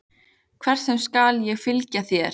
Hvert sem er skal ég fylgja þér.